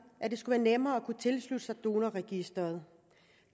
at det skulle være nemmere at kunne tilslutte sig donorregistret